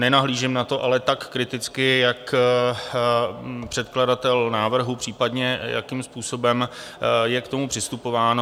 Nenahlížím na to ale tak kriticky jako předkladatel návrhu, případně jakým způsobem je k tomu přistupováno.